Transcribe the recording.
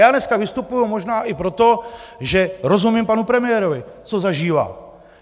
Já dneska vystupuji možná i proto, že rozumím panu premiérovi, co zažívá.